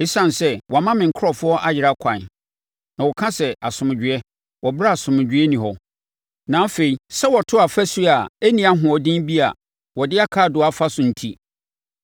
“Esiane sɛ wɔama me nkurɔfoɔ ayera ɛkwan, na wɔka sɛ ‘Asomdwoeɛ’, wɔ ɛberɛ a asomdwoeɛ nni hɔ, na afei, sɛ wɔto ɔfasuo a ɛnni ahoɔden bi a wɔde akaadoo afa so enti,